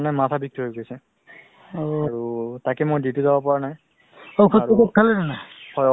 অ, তুমি ক'লা health ৰ যিটো মানে মানে ধৰা মানে তোমাৰ শৰীৰটো ভাল ৰাখিব লাগে নহয় জানো